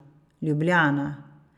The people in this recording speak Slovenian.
Ljubljana.